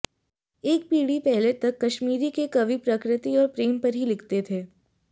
एक पीढ़ी पहले तक कश्मीरी के कवि प्रकृति और प्रेम पर ही लिखते थे